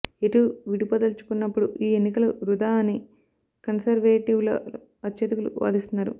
ఎటూ విడిపోదల్చుకున్నప్పుడు ఈ ఎన్నికలు వృథా అని కన్సర్వేటివ్లలో అత్యధికులు వాదిస్తున్నారు